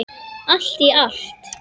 Allt í allt.